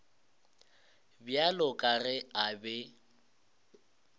bjalo ka ge a be